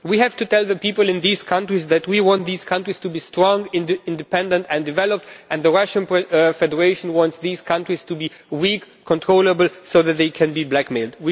We have to tell the people in these countries that we want these countries to be strong, independent and developed, and the Russian Federation wants these countries to be weak and controllable so that they can be blackmailed.